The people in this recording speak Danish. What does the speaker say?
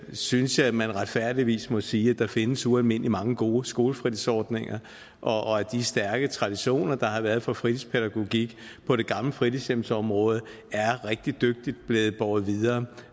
synes jeg at man retfærdigvis må sige at der findes ualmindelig mange gode skolefritidsordninger og at de stærke traditioner der har været for fritidspædagogik på det gamle fritidshjemsområde er rigtig dygtigt båret videre